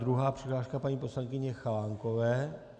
Druhá přihláška paní poslankyně Chalánkové.